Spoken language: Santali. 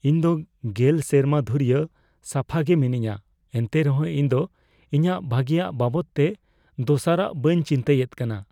ᱤᱧ ᱫᱚ ᱑᱐ ᱥᱮᱨᱢᱟ ᱫᱷᱩᱨᱭᱟᱹ ᱥᱟᱯᱷᱟ ᱜᱮ ᱢᱤᱱᱟᱹᱧᱟ ᱮᱱᱛᱮ ᱨᱮᱦᱚᱸ ᱤᱧ ᱫᱚ ᱤᱧᱟᱹᱜ ᱵᱷᱟᱜᱮᱭᱟᱜ ᱵᱟᱵᱚᱫ ᱛᱮ ᱫᱚᱥᱟᱨᱟᱜ ᱵᱟᱹᱧ ᱪᱤᱱᱛᱟᱹᱭᱮᱫ ᱠᱟᱱᱟ ᱾